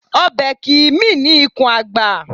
Ọbẹ̀ kìí mì ní ikùn àgbà